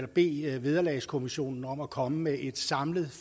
bede vederlagskommissionen om at komme med et samlet